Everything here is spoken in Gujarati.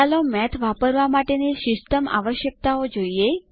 ચાલો મેથ વાપરવા માટેની સિસ્ટમ આવશ્યકતાઓ જોઈએ